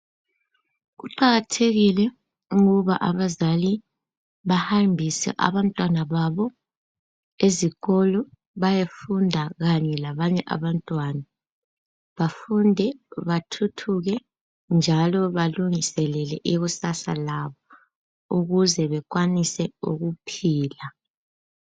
Kuqakathekile ukubana abazali bahambise abantwana babo ezikolo bayefunda kanye labanye abantwana bafunde bathuthuke njalo balungiselele ikusasa labo ukuze bekwanise ukuphila